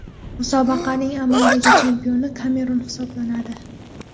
Musobaqaning amaldagi chempioni Kamerun hisoblanadi.